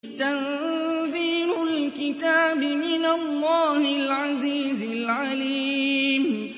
تَنزِيلُ الْكِتَابِ مِنَ اللَّهِ الْعَزِيزِ الْعَلِيمِ